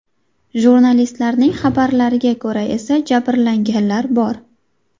Jurnalistlarning xabarlariga ko‘ra esa, jabrlanganlar bor.